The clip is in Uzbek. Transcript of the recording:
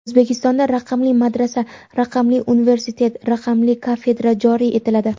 O‘zbekistonda "raqamli madrasa", "raqamli universitet", "raqamli kafedra" joriy etiladi.